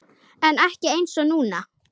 En ekki einsog núna.